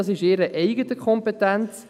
Dies ist in ihrer eigenen Kompetenz.